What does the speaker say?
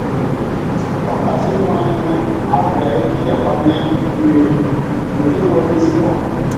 Ọ kasị mma inwe arịa e ji agbanye mmiri, nke nwere isi pọmpụ.